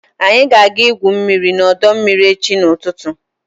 anyị ga-aga igwu mmiri n'ọdọ mmiri echi n'ụtụtụ